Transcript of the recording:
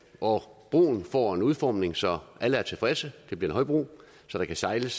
og broen får en udformning så alle er tilfredse det bliver en højbro så der kan sejles